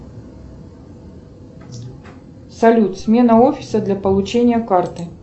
салют смена офиса для получения карты